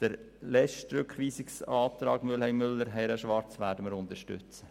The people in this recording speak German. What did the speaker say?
Den letzten Rückweisungsantrag Mühlheim/Müller/ Herren/Schwarz werden wir unterstützen.